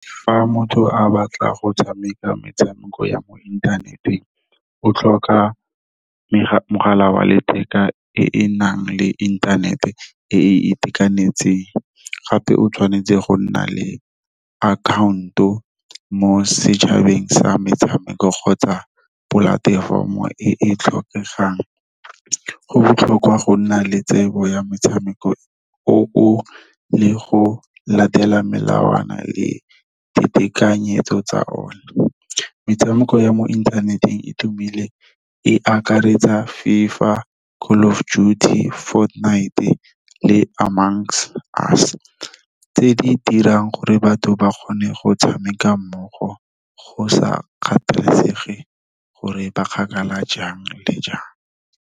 Fa motho a batla go tshameka metshameko ya mo inthaneteng o tlhoka mogala wa letheka, e e nang le inthanete e e itekanetseng. Gape o tshwanetse go nna le account-o mo setšhabeng sa metshameko kgotsa polatefomo o e tlhokegang, go botlhokwa go nna le tsebo ya metshameko o le go latela melawana le ditekanyetso tsa o ne. Metshameko ya mo inthaneteng e tumileng e akaretsa FIFA, Call of Duty, Fortnite le . Tse di dirang gore batho ba kgone go tshameka mmogo, go sa kgathalesege gore ba kgakala jang le jang.